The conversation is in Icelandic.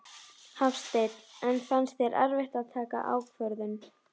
Hafsteinn: En fannst þér erfitt að taka ákvörðun?